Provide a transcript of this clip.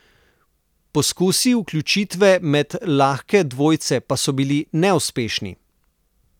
Poskusi vključitve med lahke dvojce pa so bili neuspešni.